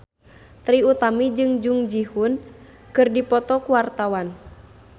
Trie Utami jeung Jung Ji Hoon keur dipoto ku wartawan